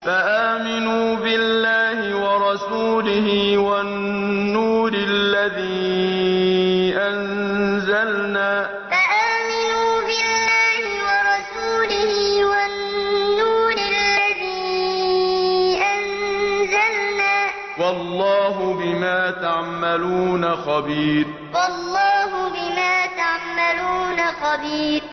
فَآمِنُوا بِاللَّهِ وَرَسُولِهِ وَالنُّورِ الَّذِي أَنزَلْنَا ۚ وَاللَّهُ بِمَا تَعْمَلُونَ خَبِيرٌ فَآمِنُوا بِاللَّهِ وَرَسُولِهِ وَالنُّورِ الَّذِي أَنزَلْنَا ۚ وَاللَّهُ بِمَا تَعْمَلُونَ خَبِيرٌ